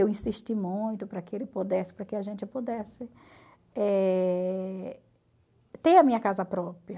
Eu insisti muito para que ele pudesse, para que a gente pudesse eh ter a minha casa própria.